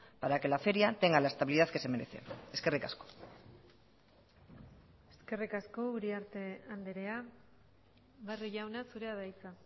para que la feria tenga la estabilidad que se merece eskerrik asko eskerrik asko uriarte andrea barrio jauna zurea da hitza